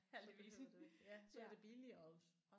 Så behøvede du ikke ja så var det billigere også